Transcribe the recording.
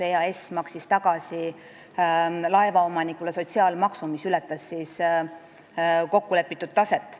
EAS maksis laevaomanikule tagasi sotsiaalmaksu, mis ületas kokkulepitud taset.